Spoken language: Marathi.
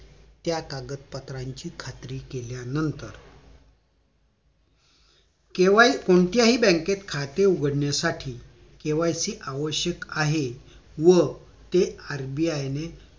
त्या कागदपत्रांची खात्री केल्यानतर केवळ कोणत्या हि बँकेत खाते उघडण्यासाठी KYC आवश्यक आहे व ते RBI ने